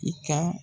I ka